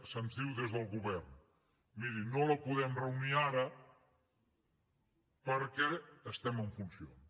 se’ns diu des del govern miri no la podem reunir ara perquè estem en funcions